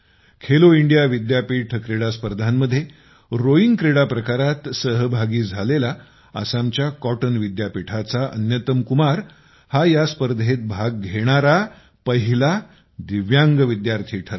Khelo India विद्यापीठ क्रीडास्पर्धांमध्ये rowing क्रीडा प्रकारात सहभागी झालेला आसामच्या कॉटन विद्यापीठाचा अन्यतम कुमार हा या स्पर्धेत भाग घेणारा पहिला दिव्यांग विद्यार्थी ठरला